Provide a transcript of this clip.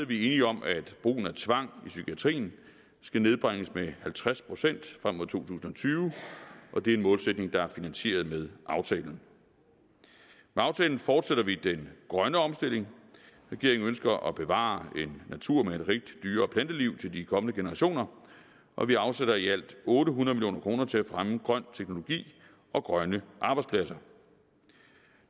vi enige om at brugen af tvang i psykiatrien skal nedbringes med halvtreds procent frem mod to tusind og tyve og det er en målsætning der er finansieret med aftalen med aftalen fortsætter vi den grønne omstilling regeringen ønsker at bevare en natur med et rigt dyre og planteliv til de kommende generationer og vi afsætter i alt otte hundrede million kroner til at fremme grøn teknologi og grønne arbejdspladser